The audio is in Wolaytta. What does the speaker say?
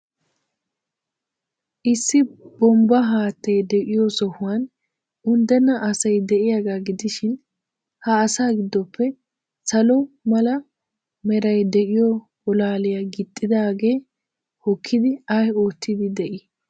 Issi bombbaa haattay de'iyoo sohuwan unddenna asay de'iyaagaa gidishin, ha asaa giddoppe salo mala meray de'iyoo bolaaliya gixxidaagee hokkidi ay oottiiddi de''ii?